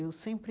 Eu sempre